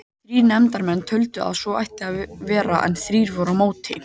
Þrír nefndarmenn töldu að svo ætti að vera en þrír voru á móti.